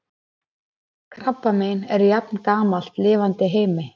krabbamein er jafngamalt lifandi heimi